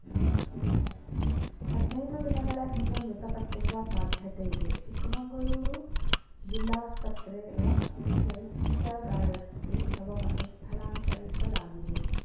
ಹದ್ನೈದು ದಿನಗಳ ಹಿಂದೆ ಮೃತಪಟ್ಟಿರುವ ಸಾಧ್ಯತೆ ಇದೆ ಚಿಕ್ಕಮಂಗಳೂರು ಜಿಲ್ಲಾಸ್ಪತ್ರೆಯ ಶೈತ್ಯಾಗಾರಕ್ಕೆ ಶವವನ್ನು ಸ್ಥಳಾಂತರಿಸಲಾಗಿದೆ